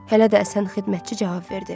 hələ də əsən xidmətçi cavab verdi.